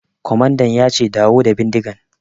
Kwamandan ya ce 'Dawo da bindigan'!